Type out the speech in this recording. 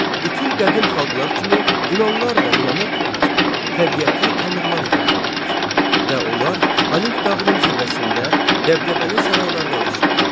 Bütün qədim xalqlar kimi Yunanlar da inanırdılar ki, təbiəti tanrılar idarə eləyir və onlar Olimp dağının zirvəsində dəbdəbəli saraylarda yaşayır.